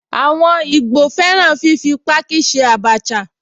Àwọn ìgbò fẹ́ràn fífi páákí ṣe Abacha